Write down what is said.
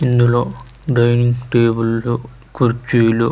ఇందులో డైనింగ్ టేబుళ్లు కుర్చీలు--